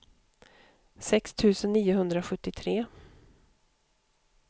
sex tusen niohundrasjuttiotre